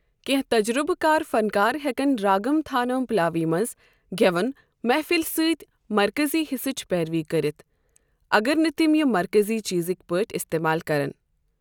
کینٛہہ تجربہٕ کار فنکار ہیکَن راگم تھانم پلاوی منٛز گٮ۪وَن محفلہِ سۭتۍ مرکزی حصٕچ پیروی کٔرتھ، اگر نہٕ تِم یہِ مرکزی چیزٕکۍ پٲٹھۍ استعمال کرن۔